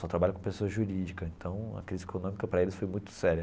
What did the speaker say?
Só trabalha com pessoa jurídica, então a crise econômica para eles foi muito séria.